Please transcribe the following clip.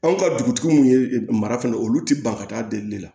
Anw ka dugutigi min ye mara fana ye olu tɛ ban ka taa delili la